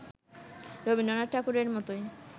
রবীন্দ্রনাথ ঠাকুরের মতোই